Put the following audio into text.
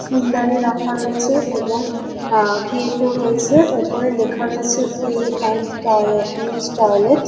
ফুলদানির রাখা রয়েছে এবং আহ গেট -ও রয়েছে। ওপরে লেখা রয়েছে pay and uh use toilet.